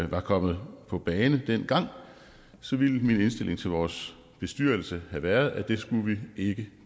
var kommet på banen dengang ville min indstilling til vores bestyrelse have været at det skulle vi ikke